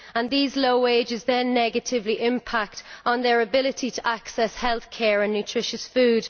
These low wages then negatively impact on their ability to access healthcare and nutritious food.